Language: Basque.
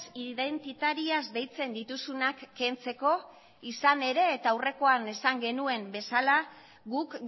identitarias deitzen dituzunak kentzeko izan ere eta aurrekoan esan genuen bezala guk